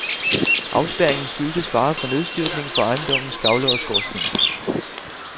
Afspærringen skyldtes fare for nedstyrtning fra ejendommens gavle og skorsten.